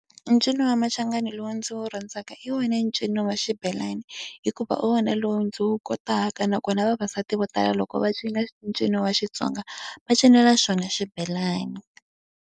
E ncino wa machangani lowu ndzi wu rhandzaka hi wona ncino wa xibelani, hikuva hi wona lowu ndzi wu kotaka. Nakona vavasati vo tala loko va cina ncino wa Xitsonga va cinela xona xibelani.